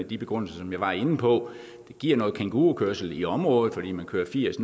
de begrundelser som jeg var inde på det giver noget kængurukørsel i området fordi man kører firs